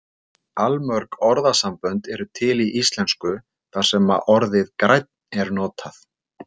allmörg orðasambönd eru til í íslensku þar sem orðið grænn er notað